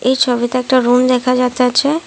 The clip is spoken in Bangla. এই ছবিতে একটা রুম দেখা যাতেছে ।